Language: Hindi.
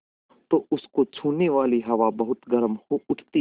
तो उसको छूने वाली हवा बहुत गर्म हो उठती है